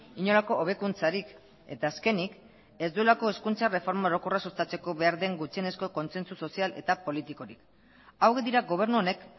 inolako hobekuntzarik eta azkenik ez duelako hezkuntza erreforma orokorra sustatzeko behar den gutxienezko kontsentsu sozial eta politikorik hauek dira gobernu honek